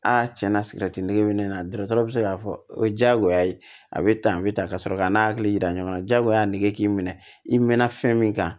A tiɲɛna sigɛrɛti nege bɛ ne na dɔgɔtɔrɔ bɛ se k'a fɔ o ye diyagoya ye a bɛ tan a bɛ tan ka sɔrɔ k'a n'a hakili yira ɲɔgɔn na jagoya nege k'i minɛ i mɛnna fɛn min kan